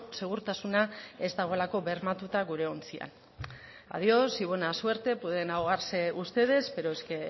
segurtasuna ez dagoelako bermatuta gure ontzian adiós y buena suerte pueden ahogarse ustedes pero es que